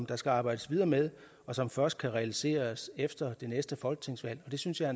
der skal arbejdes videre med og som først kan realiseres efter det næste folketingsvalg det synes jeg